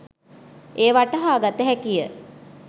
එය වටහා ගත හැකිය.